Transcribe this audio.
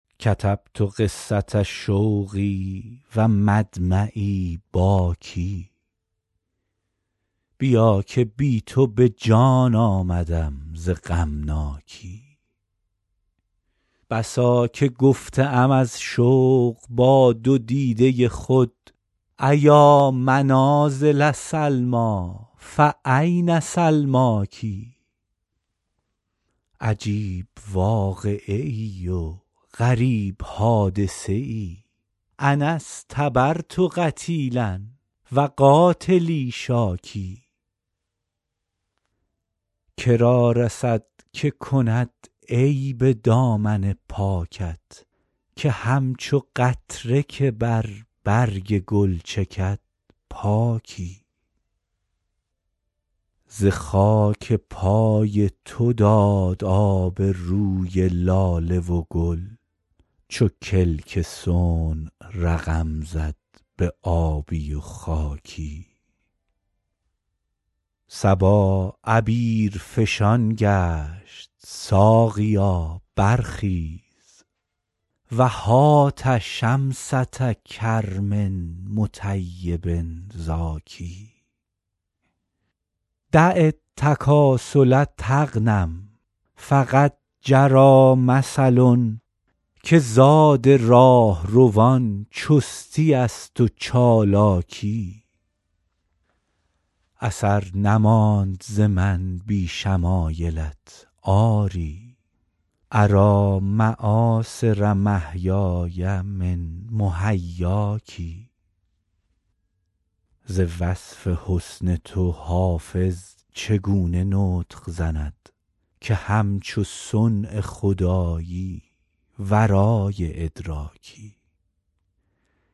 کتبت قصة شوقی و مدمعی باکی بیا که بی تو به جان آمدم ز غمناکی بسا که گفته ام از شوق با دو دیده خود أیا منازل سلمیٰ فأین سلماک عجیب واقعه ای و غریب حادثه ای أنا اصطبرت قتیلا و قاتلی شاکی که را رسد که کند عیب دامن پاکت که همچو قطره که بر برگ گل چکد پاکی ز خاک پای تو داد آب روی لاله و گل چو کلک صنع رقم زد به آبی و خاکی صبا عبیرفشان گشت ساقیا برخیز و هات شمسة کرم مطیب زاکی دع التکاسل تغنم فقد جری مثل که زاد راهروان چستی است و چالاکی اثر نماند ز من بی شمایلت آری أری مآثر محیای من محیاک ز وصف حسن تو حافظ چگونه نطق زند که همچو صنع خدایی ورای ادراکی